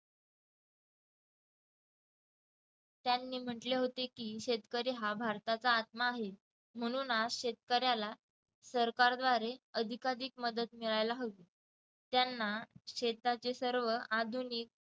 त्यांनी म्हटले होते की शेतकरी हा भारताचा आत्मा आहे म्हणून आज शेतकऱ्याला सरकारद्वारे अधिकाधिक मदत मिळायला हवी त्यांना शेताचे सर्व आधुनिक